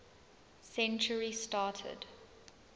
century started